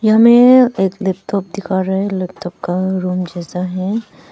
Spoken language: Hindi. हमें एक लैपटॉप दिखा रहा है लैपटॉप का रूम जैसा है।